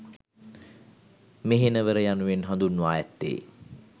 මෙහෙණවර යනුවෙන් හඳුන්වා ඇත්තේ